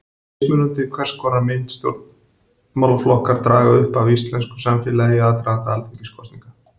Mismunandi er hvers konar mynd stjórnmálaflokkar draga upp af íslensku samfélagi í aðdraganda alþingiskosninga.